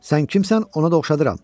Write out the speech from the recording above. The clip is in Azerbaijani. Sən kimsən, ona da oxşadıram.